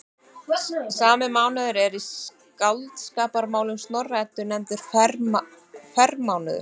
Sami mánuður er í Skáldskaparmálum Snorra-Eddu nefndur frermánuður.